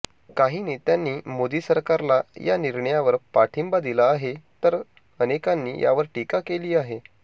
काही नेत्यांनी मोदी सरकारला या निर्णयावर पाठिंबा दिला आहे तर अनेकांनी यावर टीका केली आहे